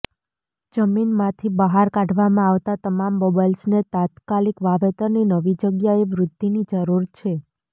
જમીનમાંથી બહાર કાઢવામાં આવતાં તમામ બલ્બ્સને તાત્કાલિક વાવેતરની નવી જગ્યાએ વૃદ્ધિની જરૂર છે